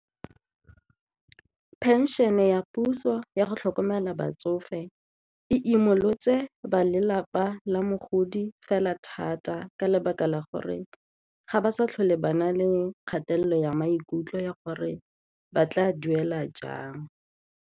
Pension-e ya puso yago tlhokomela batsofe e imolotse ba lelapa la mogodi fela thata ka lebaka la gore ga ba sa tlhole ba na le kgatelelo ya maikutlo ya gore ba tla duela jang.